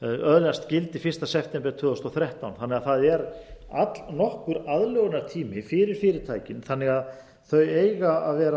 öðlast gildi fyrsta september tvö þúsund og þrettán þannig að það er allnokkur aðlögunartími fyrir fyrirtækin þannig að þau eiga